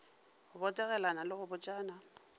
go botegelana le go botšana